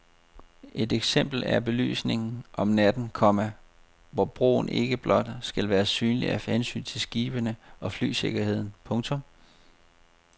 Et eksempel er belysningen om natten, komma hvor broen ikke blot skal være synlig af hensyn til skibene og flysikkerheden. punktum